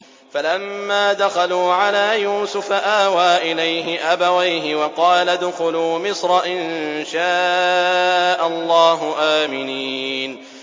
فَلَمَّا دَخَلُوا عَلَىٰ يُوسُفَ آوَىٰ إِلَيْهِ أَبَوَيْهِ وَقَالَ ادْخُلُوا مِصْرَ إِن شَاءَ اللَّهُ آمِنِينَ